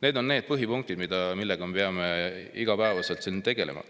Need on põhipunktid, millega me peame iga päev siin tegelema.